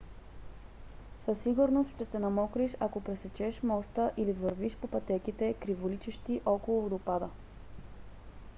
със сигурност ще се намокриш ако пресечеш моста или вървиш по пътеките криволичещи около водопада